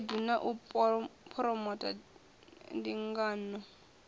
khaedu na u phuromotha ndingano